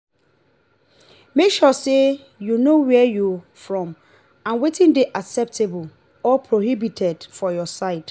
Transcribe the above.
make sure say you know where you from and wetin de acceptable or prohibited for your side